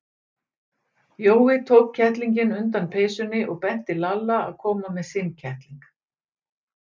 Jói tók kettlinginn undan peysunni og benti Lalla að koma með sinn kettling.